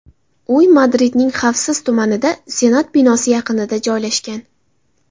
Uy Madridning xavfsiz tumanida, senat binosi yaqinida joylashgan.